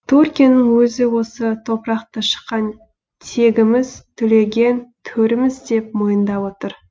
түркияның өзі осы топырақты шыққан тегіміз түлеген төріміз деп мойындап отыр